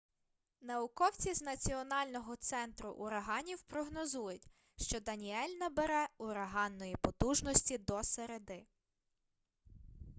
науковці з національного центру ураганів прогнозують що даніель набере ураганної потужності до середи